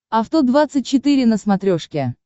авто двадцать четыре на смотрешке